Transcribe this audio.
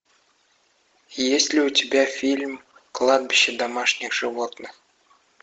есть ли у тебя фильм кладбище домашних животных